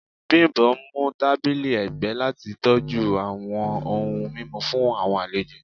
Bimbo mu tabili ẹgbẹ lati tọju awọn ohun mimu fun awọn alejo